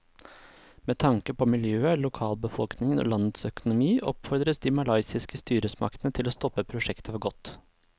Med tanke på miljøet, lokalbefolkningen og landets økonomi oppfordres de malaysiske styresmaktene til å stoppe prosjektet for godt.